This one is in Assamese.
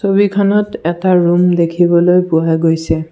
ছবিখনত এটা ৰুম দেখিবলৈ পোৱা গৈছে।